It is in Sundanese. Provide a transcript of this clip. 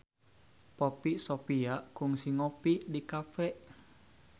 Poppy Sovia kungsi ngopi di cafe